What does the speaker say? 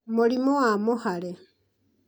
Mũrimũ wa Mũhare: